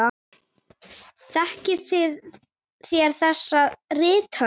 Þekkið þér þessa rithönd?